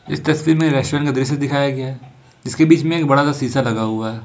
इस तस्वीर में रेस्टोरेंट का दृश्य दिखाया गया है जिसके बीच में एक बड़ा सा शीशा लगा हुआ है।